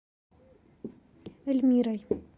эльмирой